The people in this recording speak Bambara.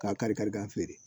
K'a kari kari k'a feere